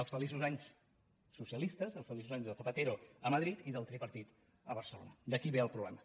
els feliços anys socialistes els feliços anys de zapatero a madrid i del tripartit a barcelona d’aquí ve el problema